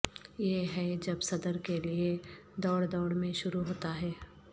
یہ ہے جب صدر کے لئے دوڑ دوڑ میں شروع ہوتا ہے